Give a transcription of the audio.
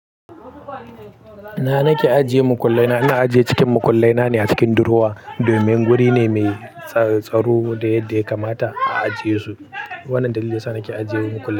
Ina nake ajiye mukullai na? Ina ajiye cikin mukullai na ne a cikin durowa domin wuri ne mai tsatsaru da yadda ya kamata a ajiye su. Wannan dalilin yasa nake ajiye mukullai na.